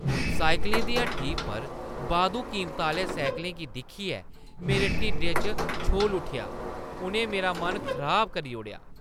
साइकलें दी हट्टी पर बाद्धू कीमता आह्‌ले साइकलें गी दिक्खियै मेरे ढिड्डै च छोल उट्ठेआ। उʼनें मेरा मन खराब करी ओड़ेआ।